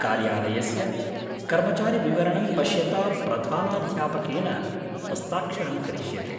कार्यालयस्य कर्मचारिविवरणं पश्यता प्रधानाध्यापकेन हस्ताक्षरं करिष्यते।